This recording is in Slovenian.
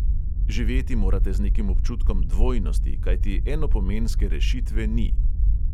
Živeti morate z nekim občutkom dvojnosti, kajti enopomenske rešitve ni.